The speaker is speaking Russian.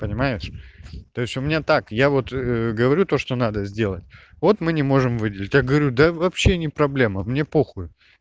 понимаешь то есть у меня так я вот говорю то что надо сделать вот мы не можем выделить я говорю да вообще не проблема мне похую